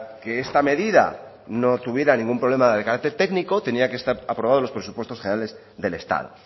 que esta medida no tuviera ningún problema de carácter técnico tenía que estar aprobado en los presupuestos generales del estado